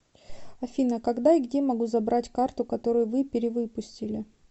афина когда и где могу забрать карту который вы перевыпустили